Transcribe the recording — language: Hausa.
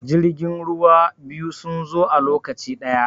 jiragen ruwa biyu sun zo a lokaci ɗaya